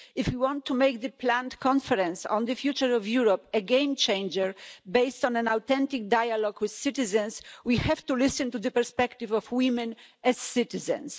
If we want to make the planned conference on the future of Europe a game changer, based on an authentic dialogue with citizens, we have to listen to the perspective of women as citizens.